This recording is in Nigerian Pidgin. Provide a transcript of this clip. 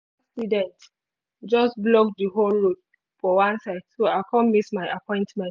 accident just block the whole road for one side so i come miss my appointment